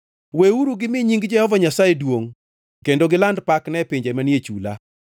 Weuru gimi nying Jehova Nyasaye duongʼ kendo giland pakne e pinje manie chula.